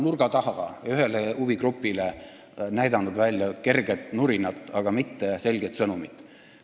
Mart Laar on ühele huvigrupile näidanud nurga taga välja kerget nurinat, aga mitte selget sõnumit.